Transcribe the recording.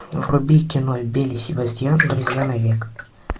вруби кино белль и себастьян друзья навек